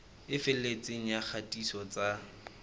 e felletseng ya kgatiso tsa